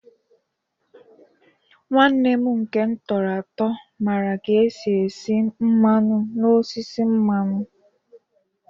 Nwanne m nke m tọrọ mara ka esi esi mmanụ n'osisi mmanụ